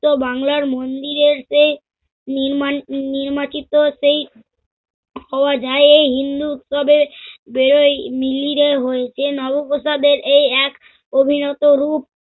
বাংলার মন্দিরের সেই নির্মান নির্বাচিত সেই হওয়া যায় এই হিন্দু উৎসবে হয়েছে নবাবপ্রাসাদের এই এক অভিনত রুপ।